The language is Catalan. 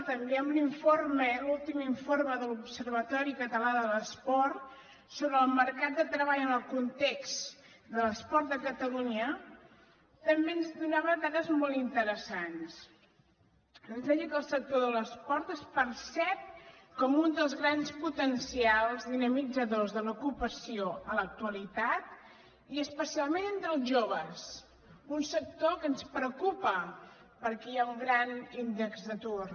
també l’últim informe de l’observatori català de l’esport sobre el mercat de treball en el context de l’esport a catalunya ens donava dades molt interessants ens deia que el sector de l’esport es percep com un dels grans potencials dinamitzadors de l’ocupació en l’actualitat i especialment entre els joves un sector que ens preocupa perquè hi ha un gran índex d’atur